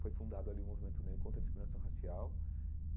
Foi fundado ali o Movimento né Contra a Discriminação Racial.